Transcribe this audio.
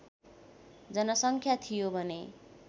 जनसङ्ख्या थियो भने